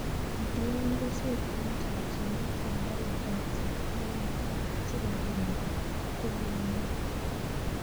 Matikol keswek eng' chakchinet ye nda pek ropta neyo siko kirinda konunio